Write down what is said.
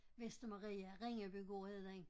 Vestermarie Ringebygård hed den